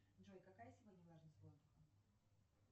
джой какая сегодня влажность воздуха